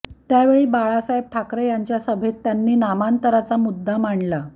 त्यावेळी बाळासाहेब ठाकरे यांच्या सभेत त्यांनी नामांतराचा मुद्दा मांडला